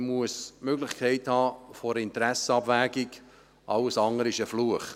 Man muss die Möglichkeit der Interessensabwägung haben, alles andere ist ein Fluch.